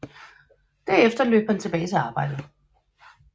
Derefter løb han tilbage til arbejdet